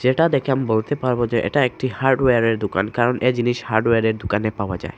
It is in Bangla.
এটা দেখে আমি বলতে পারবো যে এটা একটি হার্ডওয়্যার -এর দুকান কারণ এ জিনিস হার্ডওয়্যার -এর দুকানে পাওয়া যায়।